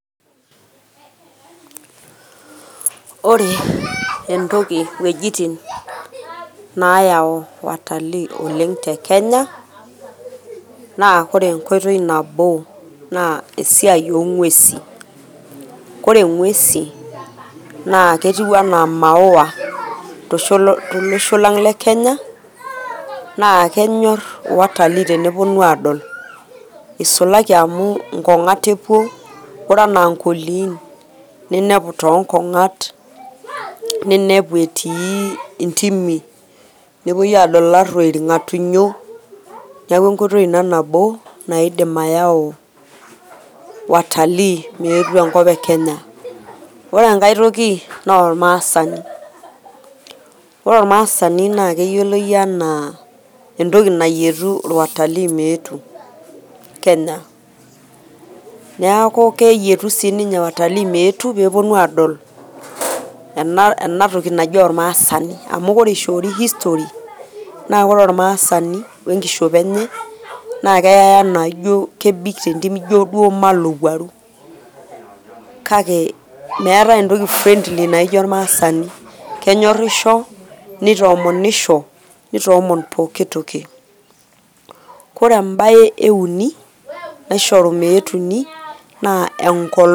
Ore entoki , wuejitin naayau watalii oleng te Kenya naa ore enkoitoi nabo na esiai oo ng`uesin. Ore ng`uesin naa ketiu enaa maua to losho lang le kenya. Naa kenyorr watalii teneponu aapuo aadol, nisulaki amu nkong`at epuo. Ore enaa nkoliin ninepu too nkong`at ninepu etii ntimi. Nepuoi aadol illaruoi, ilng`atunyo. Niaku enkoitoi ina nabo naidim ayau watalii meyetu enkop e Kenya. Ore enkae toki naa olmaasani, ore olmasani naa keyioloi enaa entoki nayietu watalii meetu Kenya. Niaku keyietu sii ninye watalii meyetu aadol ena toki naji olmaasani. Amu ore ishoori history naa ore olmaasani o enkishopo enye naa keyai enaa kebik te nkop injo duo olowuaru. Kake meetae entoki nara friendly naijo olmaasani kenyorrisho nitomonisho nitoomon poki toki. Ore embae e uni naisho meyetuni naa enkolong